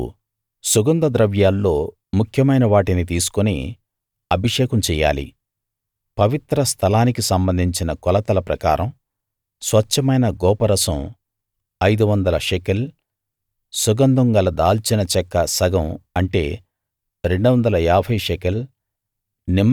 నువ్వు సుగంధ ద్రవ్యాల్లో ముఖ్యమైన వాటిని తీసుకుని అభిషేకం చెయ్యాలి పవిత్ర స్థలానికి సంబంధించిన కొలతల ప్రకారం స్వచ్ఛమైన గోపరసం 500 షెకెల్ సుగంధం గల దాల్చిన చెక్క సగం అంటే 250 షెకెల్